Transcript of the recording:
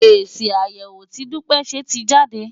Èsì àyẹ̀wò tí Dúpẹ́ ṣe ti jáde.